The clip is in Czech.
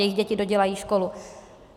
Jejich děti dodělají školu.